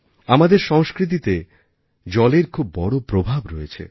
আমাদের সংস্কৃতিতে জলের খুব বড় প্রভাব রয়েছে